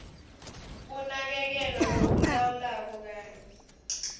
kunakekelwa lokulawulwako kanye